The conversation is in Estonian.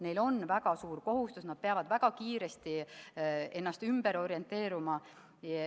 Neil on väga suur kohustus, nad peavad väga kiiresti ümber orienteeruma.